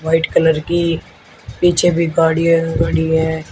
White colour की पीछे भी गाड़ी है बड़ी है।